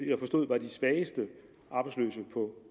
jeg forstod var de svageste arbejdsløse på